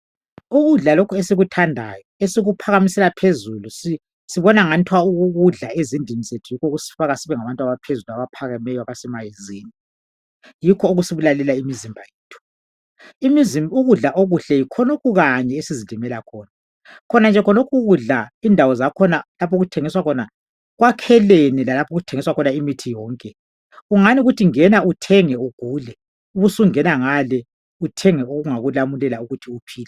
ukudla lokhu esikuthandayo esikuphakamisela phezulu sibona engathwa ukukudla ezindlini yikho okusifaka sibe ngabantu abaphezulu abaphakemeyo yikho okusibulalela imizimba yethu ukudla okuhle yikhonokhu kanye esizilimela khona khona nje khonokhu ukudla indawo okuthengiswa khona kwakhelene lalapho okuthengiswa khona imithi yonke kungani kuthi ngena uthenge ugule ubusungena ngale uthenge okungakulamulela ukuthi uphile